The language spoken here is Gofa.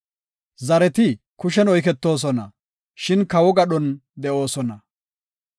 Zareti kushen oyketoosona; shin kawo gadhon de7oosona.